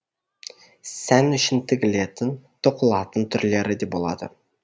сән үшін тігілетін тоқылатын түрлері де болады